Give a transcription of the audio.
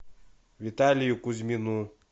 виталию кузьмину